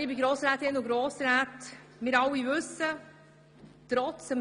Liebe Grossrätinnen und Grossräte, wir alle wissen es: